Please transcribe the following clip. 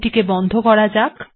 এটিকে বন্ধ করা যাক